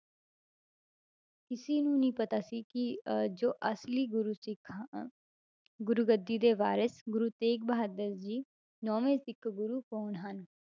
ਕਿਸੇ ਨੂੰ ਨੀ ਪਤਾ ਸੀ ਕਿ ਅਹ ਜੋ ਅਸਲੀ ਗੁਰੂ ਸਿੱਖ ਗੁਰੂ ਗੱਦੀ ਦੇ ਵਾਰਿਸ਼ ਗੁਰੂ ਤੇਗ ਬਹਾਦਰ ਜੀ ਨੋਵੇਂ ਸਿੱਖ ਗੁਰੂ ਕੌਣ ਹਨ,